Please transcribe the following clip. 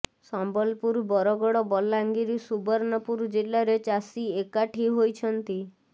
ସମ୍ବଲପୁର ବରଗଡ ବଲାଙ୍ଗିର ସୁବର୍ଣ୍ଣପୁର ଜିଲ୍ଲାରେ ଚାଷୀ ଏକାଠି ହୋଇଛନ୍ତି